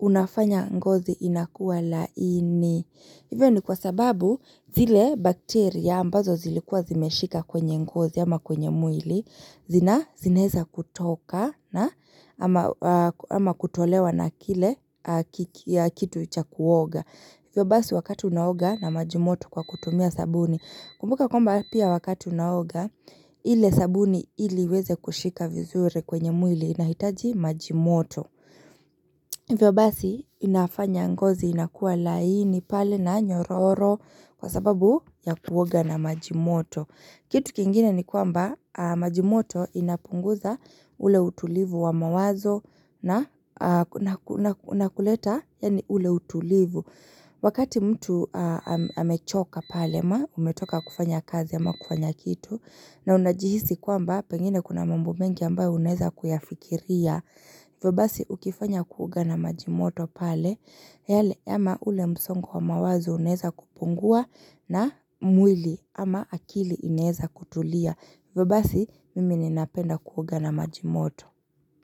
unafanya ngozi inakuwa laini. Hivyo ni kwa sababu zile bakteria ambazo zilikuwa zimeshika kwenye ngozi ama kwenye mwili zina zineza kutoka na ama kutolewa na kile kitu ucha kuoga. Hivyo basi wakati unaoga na majimoto kwa kutumia sabuni. Kumbuka kwamba pia wakati unaoga ile sabuni ili iweze kushika vizuri kwenye mwili inahitaji majimoto. Vyo basi inafanya ngozi inakua laini pale na nyororo kwa sababu ya kuwoga na majimoto. Kitu kingine ni kwamba majimoto inapunguza ule utulivu wa mawazo na kuleta ule utulivu. Wakati mtu amechoka pale ma umetoka kufanya kazi ama kufanya kitu na unajihisi kuamba pengine kuna mambo mengi ambayo uneza kuyafikiria hivo basi ukifanya kuoga na majimoto pale yale ama ule msongo wa mawazo uneza kupungua na mwili ama akili ineza kutulia hivyo basi mimi ninapenda kuoga na majimoto.